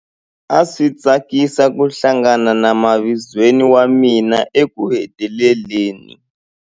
A swi tsakisa ku hlangana na mavizweni wa mina ekuheteleleni.